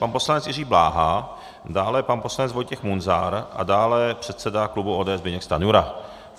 Pan poslanec Jiří Bláha, dále pan poslanec Vojtěch Munzar a dále předseda klubu ODS Zbyněk Stanjura.